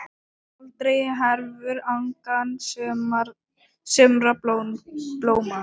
Aldrei hverfur angan sumra blóma.